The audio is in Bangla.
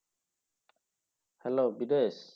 hello বিদেশ?